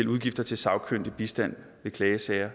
udgifter til sagkyndig bistand i klagesager